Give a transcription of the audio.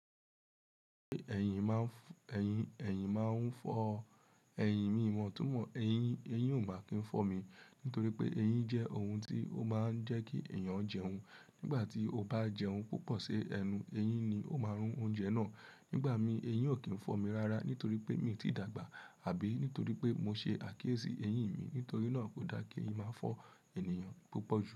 Ẹ̀yìn máa ń fọ́ ẹyìn mi wọ́n tún mọ ẹyin, ẹyin ò máa kí n fọ́ mi nítorí pé eyín jẹ́ ohun tí ó máa ń jẹ́ kí èèyàn jẹun. Nígbà tí o bá jẹun púpọ̀ sí ẹnu, eyín ni ó máa rún oúnjẹ náà. Nígbà mi, eyín ò kí ń fọ́ mi rárá nítorí pé mi ò tí dàgbà àbí nítorí pé mo ṣe àkíyèsí eyín mi. Nítorí náà kò da kí eyín máa fọ́ ènìyàn púpọ̀ jù.